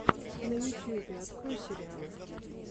на ютюбе открой сериалы